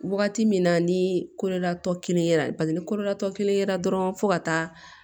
Wagati min na ni kololatɔ kelen ye la bari ni kolola tɔ kelen yera dɔrɔn fo ka taa